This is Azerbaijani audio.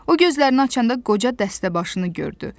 O, gözlərini açanda qoca dəstəbaşını gördü.